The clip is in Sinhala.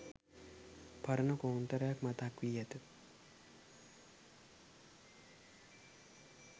පරණ කෝන්තරයක් මතක් වී ඇත.